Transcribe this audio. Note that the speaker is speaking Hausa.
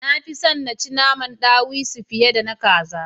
Ni nafi son na ci naman ɗawisu fiye da na kaza